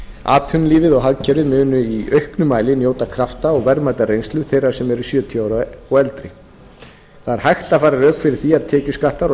atvinnulífið og hagkerfið munu í auknum mæli njóta krafta og verðmætrar reynslu þeirra sem eru sjötíu ára eða eldri það er hægt að færa rök fyrir því að tekjuskattar og